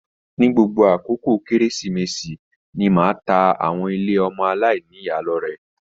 Ni gbogbo àkókò kérésìmesì ni máa tá àwọn ilé ọmọ aláìníya lọrẹ.